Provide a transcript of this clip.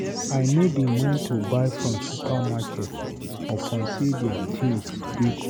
I no dey mind to buy from supermarket upon sey their tins dey cost.